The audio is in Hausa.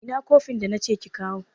ina kofin da nace kikawo